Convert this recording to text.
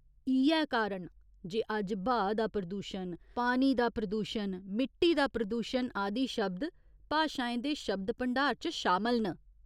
इ'यै कारण जे अज्ज ब्हाऽ दा प्रदूशण, पानी दा प्रदूशन, मिट्टी दा प्रदूशन आदि शब्द भाशाएं दे शब्द भंडार च शामल न।